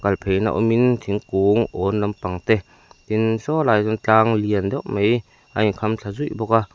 kal phei na awmin thingkung âwn lampang te tin saw lai ah sawn tlang lian deuh mai a in kham thla zuih bawk a.